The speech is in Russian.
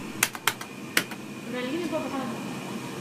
галина бобранова